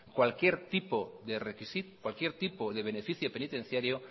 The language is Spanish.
cualquier tipo de beneficio penitenciario